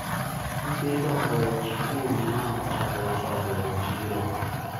nyithindo oweyo sikul ma ochako uso rabolo e chiro